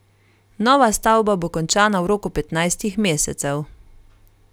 Nova stavba bo končana v roku petnajstih mesecev.